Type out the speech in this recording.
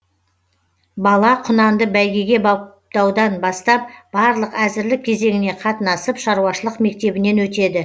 бала құнанды бәйгеге баптаудан бастап барлық әзірлік кезеңіне қатынасып шаруашылық мектебінен өтеді